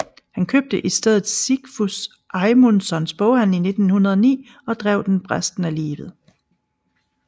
Han købte i stedet Sigfús Eymundssons Boghandel i 1909 og drev den resten af livet